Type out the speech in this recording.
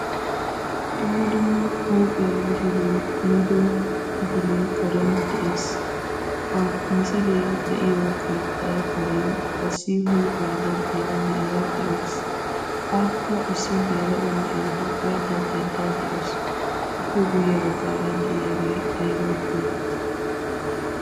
Dumma dumma huuphiya misilee kummiddo misilee karen de'ees. Ha misilee de'iyo keettee karen issi huuphiya daddiyaara na'iya de'awusu. Akka issi geela'o na'ee huuphiya daddaydda de'awusu. I guye baggaara de'iyaagee ayba geetetti?